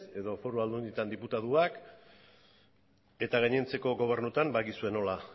edo foru aldundietan diputatuak eta gainontzeko gobernuetan badakizue nola